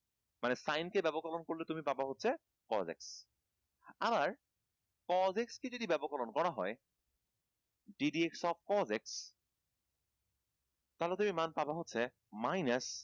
মানে sin কে ব্যাপককরণ করলে তুমি পাবা হচ্ছে cosec আবার cosec কে যদি ব্যাপককরণ করা হয় gdp of cosec তাহলে তুমি মান পাবা হচ্ছে minus